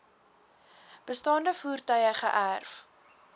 bestaande voertuie geërf